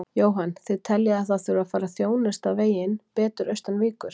Jóhann: Þið teljið að það þurfi að fara að þjónusta veginn betur austan Víkur?